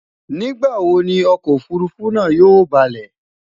nígbà wò Ni ọkọ òfurufú náà yóò baalé?